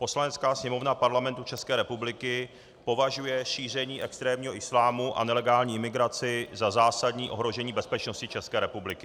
Poslanecká sněmovna Parlamentu České republiky považuje šíření extrémního islámu a nelegální migraci za zásadní ohrožení bezpečnosti České republiky.